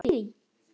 Tókstu eftir því?